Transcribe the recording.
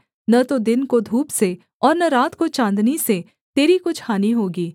न तो दिन को धूप से और न रात को चाँदनी से तेरी कुछ हानि होगी